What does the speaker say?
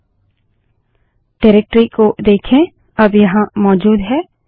निर्देशिकाडाइरेक्टरी को देखें अब यहाँ मौजूद है